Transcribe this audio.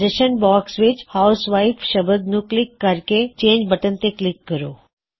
ਸੁਝਾਅ ਬਾਕ੍ਸ ਵਿੱਚ ਹਾਊਸਵਾਇਫ ਸਬਦ ਨੂੰ ਕਲਿੱਕ ਕਰਕੇ ਚੇੰਜਬਟਨ ਤੇ ਕਲਿੱਕ ਕਰੋ